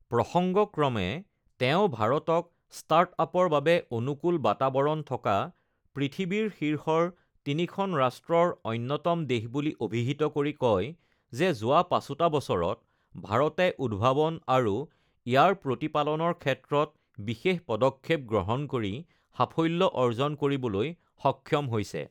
প্ৰসংগক্ৰমে তেওঁ ভাৰতক ষ্টাৰ্ট আপৰ বাবে অনুকূল বাতাবৰণ থকা পৃথিৱীৰ শীৰ্ষৰ তিনিখন ৰাষ্ট্ৰৰ অন্যতম দেশ বুলি অভিহিত কৰি কয় যে, যোৱা পাঁচোটা বছৰত ভাৰতে উদ্ভাৱন আৰু ইয়াৰ প্ৰতিপালনৰ ক্ষেত্ৰত বিশেষ পদক্ষেপ গ্ৰহণ কৰি সাফল্য অৰ্জন কৰিবলৈ সক্ষম হৈছে।